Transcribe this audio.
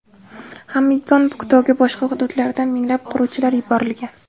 Xamgyon-Puktoga boshqa hududlardan minglab quruvchilar yuborilgan.